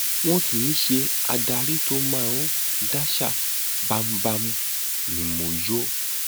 wọn kì í ṣe adarí tó máa ń daṣà bámúbámú ni mo yọ